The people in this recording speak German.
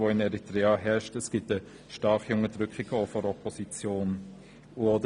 Zudem findet eine starke Unterdrückung der Opposition statt.